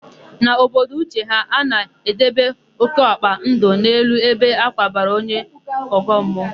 N'obodo Uche ha, a na-edebe ókéọkpa ndụ n'elu ebe a kwabara onye ọgọmmụọ.